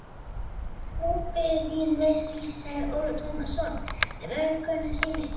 Nú bíður þín verri vist, sagði Ólafur Tómasson með vorkunnsemi.